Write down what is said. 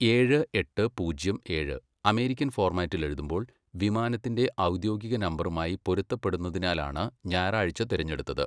ഏഴ്, എട്ട്, പൂജ്യം ഏഴ് അമേരിക്കൻ ഫോർമാറ്റിൽ എഴുതുമ്പോൾ വിമാനത്തിന്റെ ഔദ്യോഗിക നമ്പറുമായി പൊരുത്തപ്പെടുന്നതിനാലാണ് ഞായറാഴ്ച തിരഞ്ഞെടുത്തത്.